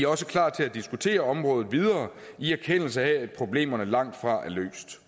også klar til at diskutere området videre i erkendelse af at problemerne langtfra er løst